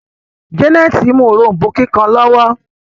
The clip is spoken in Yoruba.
Janet mú òrombó kíkàn lowo.